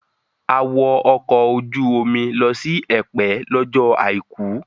A wọ ọkọ̀ ojú omi lọ sí Ẹ̀pẹ́ lọ́jọ́ àìkú